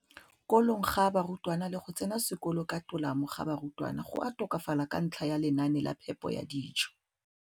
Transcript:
kolong ga barutwana le go tsena sekolo ka tolamo ga barutwana go a tokafala ka ntlha ya lenaane la phepo ya dijo.